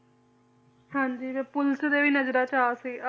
ਹਾਂਜੀ ਤੇ ਪੁਲਿਸ ਦੇ ਵੀ ਨਜਰਾਂ ਚ ਆ ਸੀ ਆ~